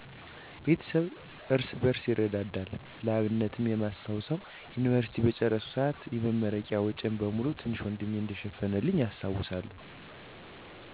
ቤተሰባችን እርስ በርስ ይረዳዳል። ለአብነትም የማስታውሰው፣" የዮኒቨርሲቲ" በጨረስኩ ሰአት የመረቂያ ወጨን በሙሉ ትንሽ ወንድሜ እንደሸፈነልኝ አስታውሳለሁ።